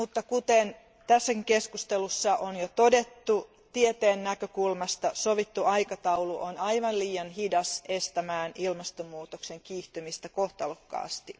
Kuten tässäkin keskustelussa on jo todettu, tieteen näkökulmasta sovittu aikataulu on aivan liian hidas estämään ilmastonmuutoksen kiihtymistä kohtalokkaasti.